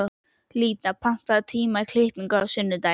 Lýdía, pantaðu tíma í klippingu á sunnudaginn.